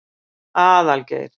Aðalgeir